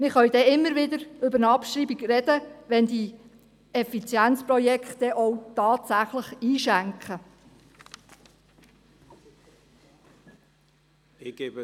Wir können immer wieder über eine Abschreibung sprechen, wenn die Projekte zur Effizienzsteigerung tatsächlich eine Wirkung zeitigen.